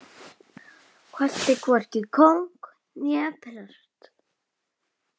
Kvaddi hvorki kóng né prest.